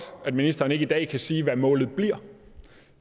at ministeren ikke i dag kan sige hvad målet bliver